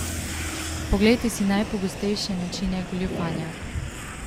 Poglejte si najpogostejše načine goljufanja!